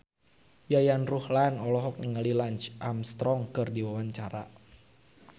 Yayan Ruhlan olohok ningali Lance Armstrong keur diwawancara